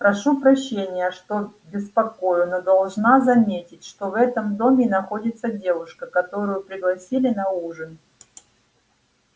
прошу прощения что беспокою но должна заметить что в этом доме находится девушка которую пригласили на ужин